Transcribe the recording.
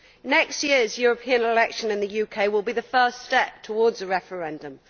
Next year's European election in the UK will be the first step towards a referendum.